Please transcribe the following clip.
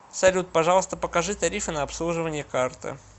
салют пожалуйста покажи тарифы на обслуживание карты